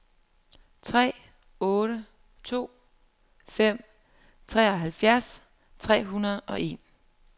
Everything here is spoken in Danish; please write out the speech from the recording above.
tre otte to fem treoghalvfjerds tre hundrede og en